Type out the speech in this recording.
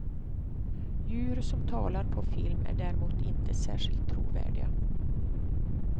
Djur som talar på film är däremot inte särskilt trovärdiga.